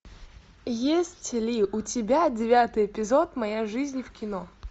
есть ли у тебя девятый эпизод моя жизнь в кино